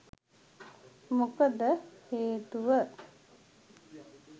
මොකද හේතුව